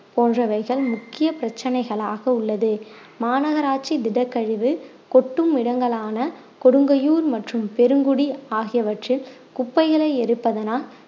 போன்றவைகள் முக்கிய பிரச்சனைகளாக உள்ளது மாநகராட்சி திடக்கழிவு கொட்டும் இடங்களான கொடுங்கையூர் மற்றும் பெருங்குடி ஆகியவற்றில் குப்பைகளை எரிப்பதனால்